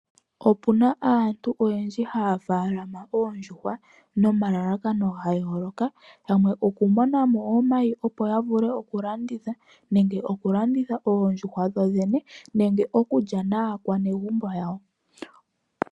Opuna aantu oyendji haya faalama oondjuhwa, nomalalakano gayooloka. Yamwe okumonamo omayi opo yavule okulanditha, nenge okulanditha oondjuhwa dhoodhene, nenge okulya naakwanezimo yawo.